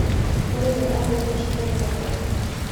Mũrĩmi arathire mũcemanio wa arĩmi.